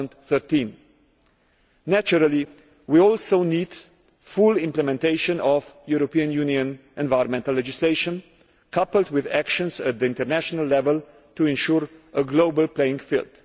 by 2013. Naturally, we also need the full implementation of European Union environmental legislation, coupled with actions at international level to ensure a level global playing field.